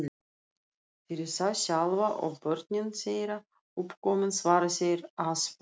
Fyrir þá sjálfa, og börnin þeirra uppkomin, svara þeir aðspurðir.